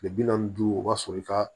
Kile bi naani ni duuru o b'a sɔrɔ i ka